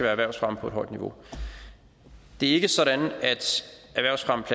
erhvervsfremme på et højt niveau det er ikke sådan